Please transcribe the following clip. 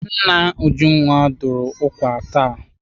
Nna Ujunwa dụrụ ụkwa taa.